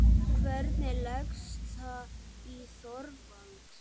Hvernig leggst það í Þorvald?